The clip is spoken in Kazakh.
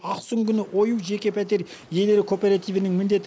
ақсүңгіні ою жеке пәтер иелері кооперативінің міндеті